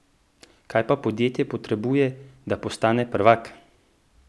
Kaj pa podjetje potrebuje, da postane prvak?